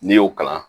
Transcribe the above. N'i y'o kalan